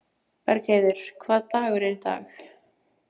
Bergheiður, hvaða dagur er í dag?